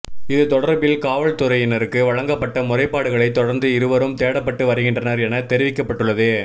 இது தொடர்பில் காவல்துறையினருக்கு வழங்க்ப்பட்ட முறைப்பாடுகளைத் தொடர்ந்து இருவரும் தேடப்பட்டு வருகின்றனர் என தெரிவிக்கப்பட்டுள்ளது